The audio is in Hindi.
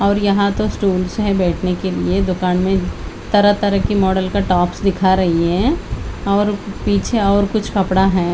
और यहाँ तो स्टूल्स हैं बैठने के लिए दुकान में तरह तरह की मॉडल का टॉप्स दिखा रहीं हैं और पीछे और कुछ कपड़ा हैं।